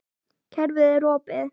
Kerfið er opið.